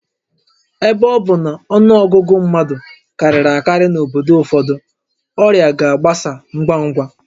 Ebe ọ bụ na ọnụ ọgụgụ mmadụ karịrị akarị n'obodo ụfọdụ, ọrịa ga-agbasa ngwa ngwa